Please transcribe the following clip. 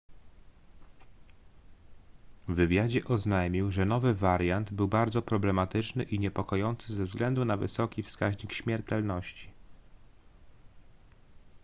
w wywiadzie oznajmił że nowy wariant był bardzo problematyczny i niepokojący ze względu na wysoki wskaźnik śmiertelności